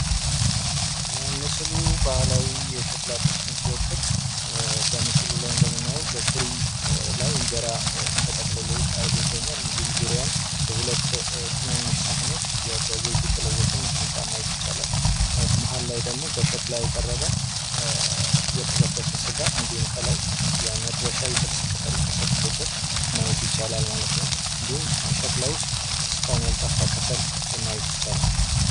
ምስሉ ባህላዊ የሸክላ ጥብሰን መወከል በምስሉ ላይ እንጀራ ተጠቅልሎ ይታያል እነዲሁም ዙሪያውን በሁለት ሳህኖች በዘይት የተለወሰ ሚጥሚጣ ይታያል። መሀል ላይ ደግሞ በሸክላ የቀረበ የተጠበሰ ስጋ